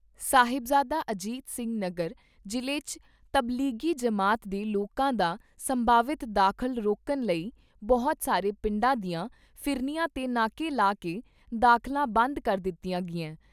ਸਾਹਿਬਜ਼ਾਦਾ ਅਜੀਤ ਸਿੰਘ ਨਗਰ ਜ਼ਿਲ੍ਹੇ 'ਚ ਤਬਲੀਗੀ ਜਮਾਤ ਦੇ ਲੋਕਾਂ ਦਾ ਸੰਭਾਵਿਤ ਦਾਖਲਾ ਰੋਕਣ ਲਈ ਬਹੁਤ ਸਾਰੇ ਪਿੰਡਾਂ ਦੀਆਂ ਫਿਰਨੀਆਂ ਤੇ ਨਾਕੇ ਲਾ ਕੇ ਦਾਖਲਾ ਬੰਦ ਕਰ ਦਿੱਤਾ ਗਿਆ ।